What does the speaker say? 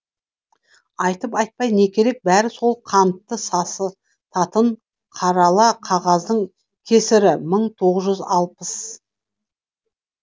айтып айтпай не керек бәрі сол қантты сасытатын қарала қағаздың кесірі